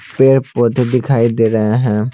पेड़ पौधे दिखाई दे रहे हैं।